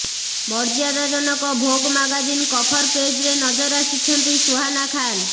ମର୍ୟ୍ୟାଦାଜନକ Vogue magazine cover ପେଜରେ ନଜର ଆସିଛନ୍ତି ସୁହାନା ଖାନ୍